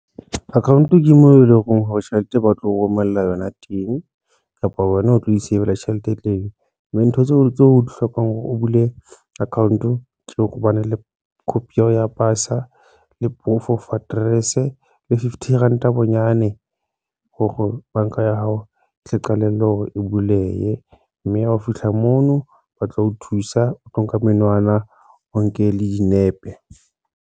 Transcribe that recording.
Account ke moo eleng hore tjhelete ba tlo romella yona teng kapa wena o tlo isavela tjhelete teng, mme ntho tseo tse o di hlokang hore o bule account ke hobane le copy ya ho ya pasa le proof of address e le fifty ranta bonyane hore banka ya hao e tle qalelle hore e bulehe mme hao fihla mono ba tla o thusa, o tlo nka menwana, o nke le dinepe.